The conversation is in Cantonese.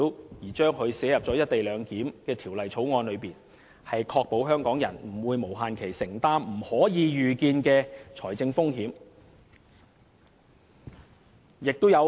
我的修正案提出把有關條文寫入《條例草案》，是要確保香港人不會無限期承擔不可預見的財政風險。